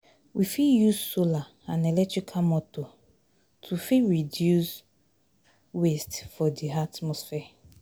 We fit use solar and electrical motor to fit reduce waste for di atmosphere